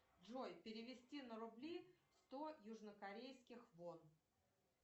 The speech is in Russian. джой перевести на рубли сто южнокорейских вон